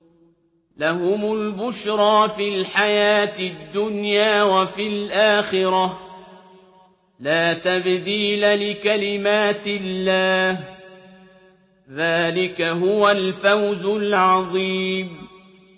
لَهُمُ الْبُشْرَىٰ فِي الْحَيَاةِ الدُّنْيَا وَفِي الْآخِرَةِ ۚ لَا تَبْدِيلَ لِكَلِمَاتِ اللَّهِ ۚ ذَٰلِكَ هُوَ الْفَوْزُ الْعَظِيمُ